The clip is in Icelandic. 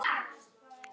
spurði ég Stjána.